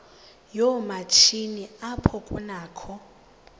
yoomatshini apho kunakho